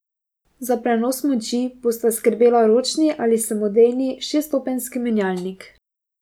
Za prenos moči bosta skrbela ročni ali samodejni šeststopenjski menjalnik.